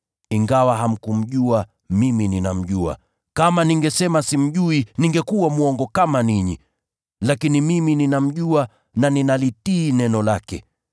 Ingawa hamkumjua, mimi ninamjua. Kama ningesema simjui, ningekuwa mwongo kama ninyi, lakini mimi ninamjua na ninalitii neno lake.